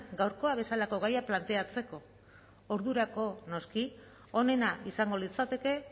gaurkoa bezalako gaiak planteatzeko ordurako noski onena izango litzateke